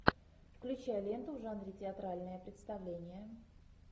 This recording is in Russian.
включай ленту в жанре театральное представление